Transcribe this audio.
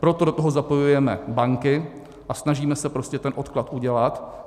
Proto do toho zapojujeme banky a snažíme se prostě ten odklad udělat.